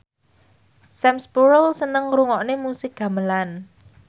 Sam Spruell seneng ngrungokne musik gamelan